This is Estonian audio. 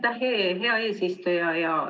Aitäh, hea eesistuja!